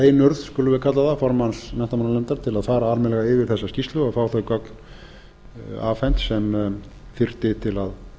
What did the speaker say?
einurð skulum við kalla það formanns menntamálanefndar ári að fara almennilega yfir þessa skýrslu og fá þau gögn afhent sem þyrfti